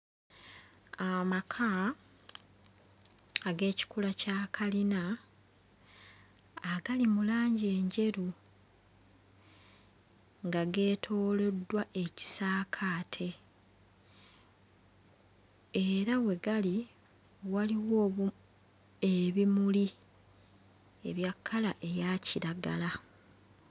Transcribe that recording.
Amaka ag'ekikula kya kalina agali mu langi enjeru nga geetooloddwa ekisaakaate era we gali waliwo obu ebimuli ebya kkala eya kiragala.